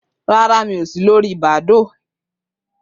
Rárá, mi ò si lòri Badoo